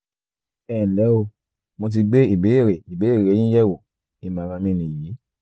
ẹ nlẹ́ o mo ti gbé ìbéèrè ìbéèrè yín yẹ̀wò ìmọ̀ràn mi nìyí